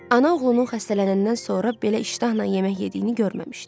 Ana oğlunun xəstələnəndən sonra belə iştahla yemək yediyini görməmişdi.